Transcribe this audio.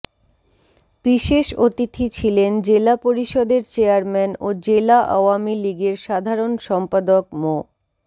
বিশেষ অতিথি ছিলেন জেলা পরিষদের চেয়ারম্যান ও জেলা আওয়ামী লীগের সাধারণ সম্পাদক মো